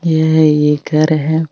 ये एक घर है।